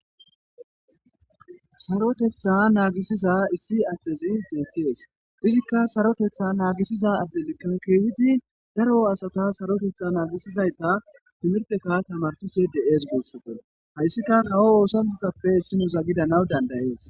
sarotetha naagisiza issi addezi deekkees izikka sarotetha naagisiza addezikka keehidi daro asata sarotetha naagisizayta timirteka tamarsise deees goossate hayssika hawo oosanutappe issino zagidanaw dandayees